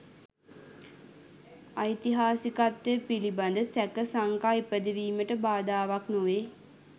ඓතිහාසිකත්වය පිළිබඳ සැක සංකා ඉපදවීමට බාධාවක් නොවේ